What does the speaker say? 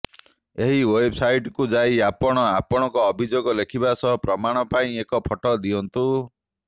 ଏହି େଓ୍ବବ୍ସାଇଟ୍କୁ ଯାଇ ଆପଣ ଆପଣଙ୍କ ଅଭିଯୋଗ ଲେଖିବା ସହ ପ୍ରମାଣ ପାଇଁ ଏକ ଫଟୋ ଦିଅନ୍ତୁ